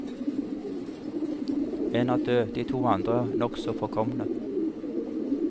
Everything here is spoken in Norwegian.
En er død, de to andre nokså forkomne.